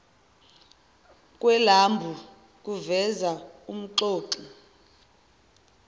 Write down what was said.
kwelambu kuveza umxoxi